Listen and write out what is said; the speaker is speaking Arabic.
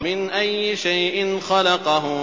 مِنْ أَيِّ شَيْءٍ خَلَقَهُ